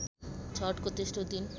छठको तेस्रो दिन